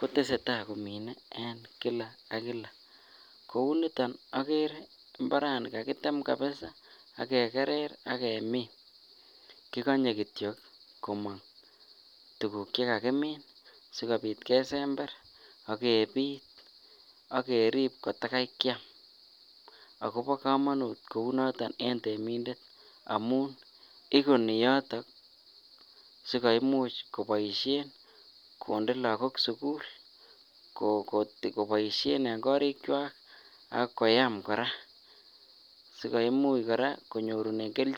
kotesetai komine en Kila ak Kila kouniton agere imbaranin kokakitem kabisaa ak kegerer ak kemin kikonye kityo komok tuguk che kakimin sikobit kesember ak kebiit ak kerib kotakai keam agobo komonut kounoton en temindet amun inguni yoton sikoimuch keboishen konde lagok sugul ko koboisien en korikwak ak koyam koraa si koimuch konyorunen keljin.